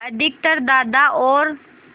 अधिकतर दादा और